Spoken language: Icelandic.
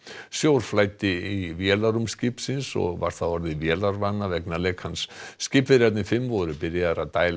sjór flæddi í vélarrúm skipsins og var það orðið vélarvana vegna lekans skipverjarnir fimm voru byrjaðir að dæla